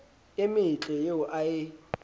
e metle eo a e